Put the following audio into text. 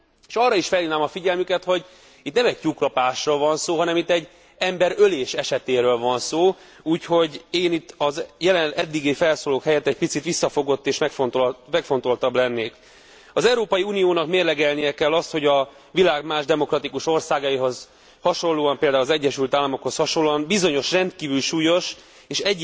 És arra is felhívnám a figyelmüket, hogy itt nem egy tyúklopásról van szó, hanem itt egy emberölés esetéről van szó, úgyhogy én itt az eddigi felszólalók helyett egy picit visszafogott és megfontoltabb lennék. Az Európai Uniónak mérlegelnie kell azt, hogy a világ más demokratikus országaihoz hasonlóan, például az Egyesült Államokhoz hasonlóan bizonyos rendkívül súlyos és